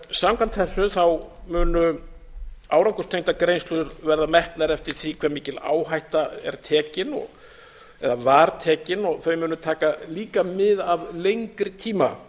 samkvæmt þessu munu árangurstengdar greiðslur verða metnar eftir því hve mikil áhætta er tekin eða var tekin og þau munu taka líka mið af lengri tíma